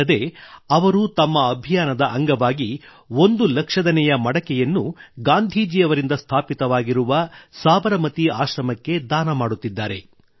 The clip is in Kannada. ಅಲ್ಲದೆ ಅವರು ತಮ್ಮ ಅಭಿಯಾನದ ಅಂಗವಾಗಿ ಒಂದು ಲಕ್ಷದನೇ ಮಡಕೆಯನ್ನು ಗಾಂಧೀಜಿ ಅವರಿಂದ ಸ್ಥಾಪಿತವಾಗಿರುವ ಸಾಬರಮತಿ ಆಶ್ರಮಕ್ಕೆ ದಾನ ಮಾಡುತ್ತಿದ್ದಾರೆ